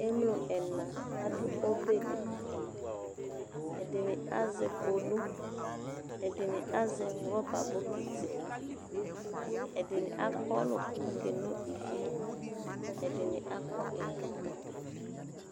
Emlo ɛna aɖʋ ɔbɛli, ɛɖini azɛ kpolu, ɛɖini azɛ rɔba bɔkiti, ɛɖini akɔlʋ kakeno ivie, ɛɖini akɔ ɛkɔtɔ